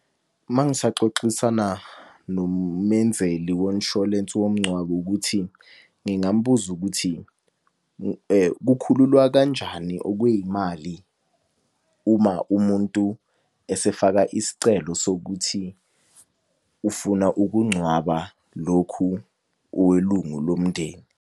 Mangisaxoxisana nomenzeli wonshwalensi womngcwabo ukuthi ngingambuza ukuthi, kukhululwa kanjani okweyimali uma umuntu esefaka isicelo sokuthi ufuna ukungcwaba lokhu welungu lomndeni?